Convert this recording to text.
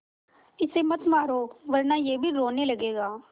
इसे मत मारो वरना यह भी रोने लगेगा